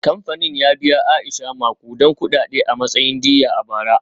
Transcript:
Kamfanin ya biya Aisha makudan kudade a matsayin diyya a bara.